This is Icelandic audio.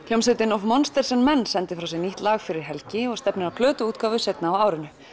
hljómsveitin of monsters and men sendi frá sér nýtt lag fyrir helgi og stefnir á plötuútgáfu seinna á árinu